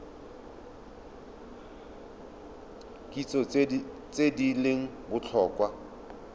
kitso tse di leng botlhokwa